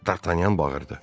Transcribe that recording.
Dartanyan bağırdı.